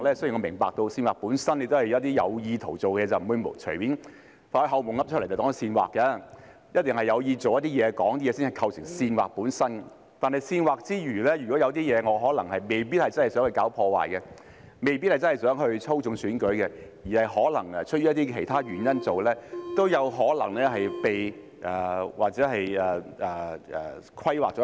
雖然我明白煽惑本身是有意圖而做的事，並不會隨便把做夢時說出來的話當作煽惑，一定是有意圖去做一些事、說一些話才會構成煽惑，但在煽惑之外，如果有一些情況是，我可能未必真的想搞破壞，未必真的想操縱選舉，可能是出於其他原因去做，也有可能被涵蓋在內。